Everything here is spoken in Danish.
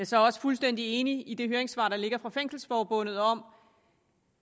så også fuldstændig enig i det høringssvar der ligger fra fængselsforbundet om